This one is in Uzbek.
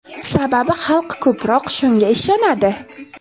Sababi xalq ko‘proq shunga ishonadi.